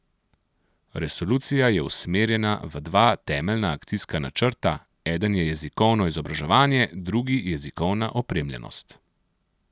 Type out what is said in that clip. Resolucija je usmerjena v dva temeljna akcijska načrta, eden je jezikovno izobraževanje, drugi jezikovna opremljenost.